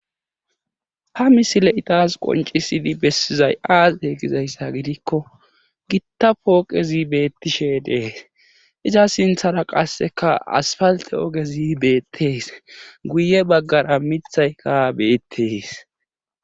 ha misile itaas qoncisidi bessizay aasi heegizayssa gidikko gitta pooqezi beettishe dees iza sinthara qasseka asfalte ogezi beettees guye baggara mithayka beettees